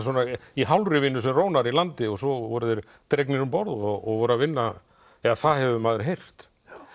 í hálfri vinnu sem rónar í landi og svo voru þeir dregnir um borð og voru að vinna eða það hefur maður heyrt